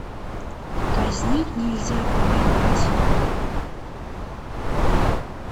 казнить нельзя помиловать